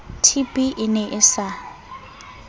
tb e ne e sa